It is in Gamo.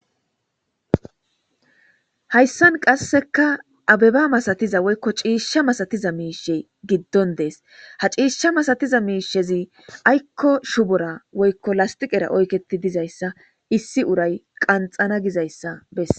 Hayssan qasseka abbeba massatiza woykko cishsha masatiza mishshey giddon dessi ha cishsha masatiza mishshezi aykko shubbora woykko lasstiqera oykketi diizayssa issi uray qanxxana giizayssa beses.